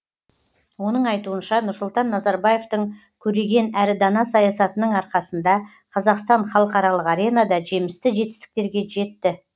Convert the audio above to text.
оның айтуынша нұрсұлтан назарбаевтың көреген әрі дана саясатының арқасында қазақстан халықаралық аренада жемісті жетістіктерге жетті